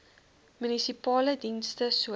munisipale dienste soos